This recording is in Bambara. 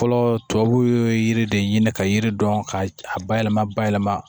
Fɔlɔ tubabu yiri de ɲini ka yiri dɔn ka ba yɛlɛma bayɛlɛma